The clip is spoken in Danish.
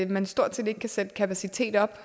man stort set ikke kan sætte kapaciteten op